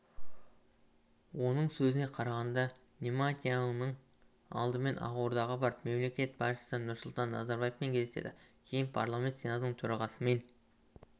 оның сөзіне қарағанда нетаньяіуның алдымен ақордаға барып мемлекет басшысы нұрсұлтан назарбаевпен кездеседі кейін парламент сенатының төрағасымен